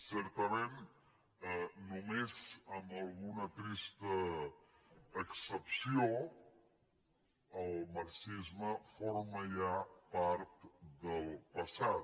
certament només amb alguna trista excepció el mar·xisme forma ja part del passat